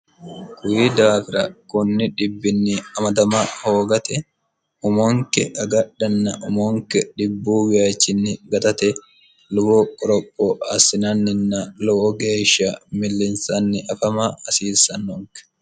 kuyi daafira kunni dhibbinni amadama hoogate umonke agadhanna umonke dhibbuuwayachinni gatate lowo qoropho assinanninna lowo geesha millinsanni afama hasiissannonke